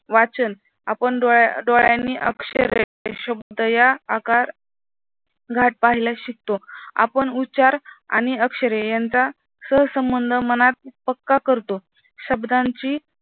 वाचन आपण डोळ्यांनी शब्द या आकार घाट पाहायला शिकतो आपण उच्चार आणि अक्षरे यांचा सहसंबंध मनात पक्का करतो. शब्दांची